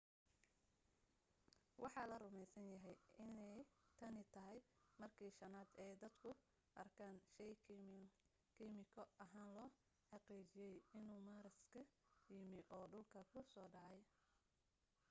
waxa la rumaysan yahay inay tani tahay markii shanaad ee dadku arkaan shay kiimiko ahaan loo xaqiijiyay inuu maaras ka yimi oo dhulka ku soo dhacay